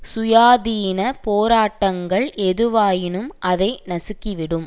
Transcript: சுயாதீனப் போராட்டங்கள் எதுவாயினும் அதை நசுக்கிவிடும்